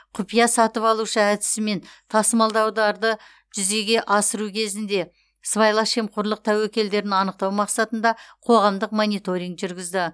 құпия сатып алушы әдісімен тасымалдауларды жүзеге асыру кезінде сыбайлас жемқорлық тәуекелдерін анықтау мақсатында қоғамдық мониторинг жүргізді